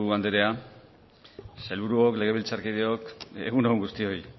andrea sailburuok legebiltzarkideok egun on guztioi